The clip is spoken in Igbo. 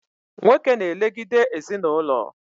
Nwoke na elegide ezinaụlọ